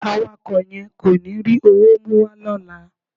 Awakọ̀ yẹn kò ní rí owó mú wá lọ́la.